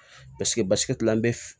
Paseke basigi an bɛ